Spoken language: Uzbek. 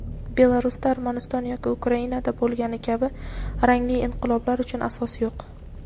Belarusda Armaniston yoki Ukrainada bo‘lgani kabi rangli inqiloblar uchun asos yo‘q.